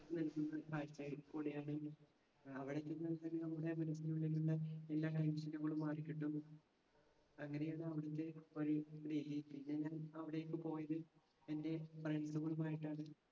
ഏർ അവിടെ ചെന്നിട്ടുണ്ടെങ്കിൽ നമ്മടെ മനസ്സിനുള്ളിലുള്ള എല്ലാ മാറിക്കിട്ടും. അങ്ങിനെ പിന്നെ ഞാൻ അവിടെ പോയത് എൻ്റെ friends സുകളുമായിട്ടാണ്